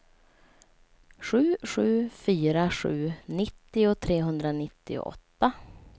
sju sju fyra sju nittio trehundranittioåtta